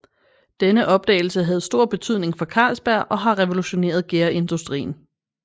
Denne opdagelse havde stor betydning for Carlsberg og har revolutioneret gærindustrien